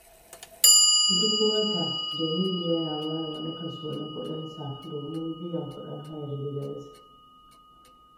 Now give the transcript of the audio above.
Duk wata, Jamilu yana ware wani kaso na kudinsa domin biyan kudin hayar gidansa.